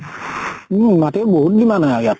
উম মাটিৰ বহুত demand হয় ইয়াত।